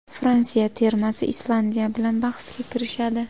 Fransiya termasi Islandiya bilan bahsga kirishadi.